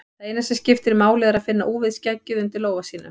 Það eina sem máli skiptir er að finna úfið skeggið undir lófa sínum.